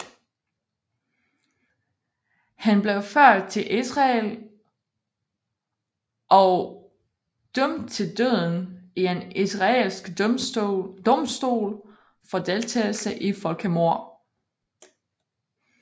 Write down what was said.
Han blev ført til Israel of dømt til døden i en israelsk domstol for deltagelse i folkemord